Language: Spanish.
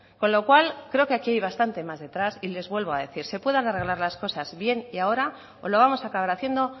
con lo cual creo que aquí hay bastante más detrás y les vuelvo a decir se pueden arreglar las cosas bien y ahora o lo vamos a acabar haciendo